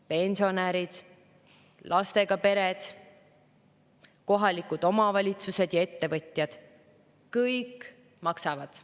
Pensionärid, lastega pered, kohalikud omavalitsused ja ettevõtjad – kõik maksavad.